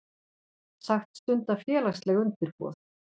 Sagt stunda félagsleg undirboð